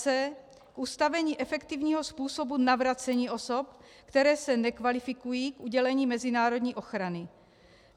c) k ustavení efektivního způsobu navracení osob, které se nekvalifikují k udělení mezinárodní ochrany.